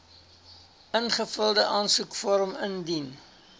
ingevulde aansoekvorm indien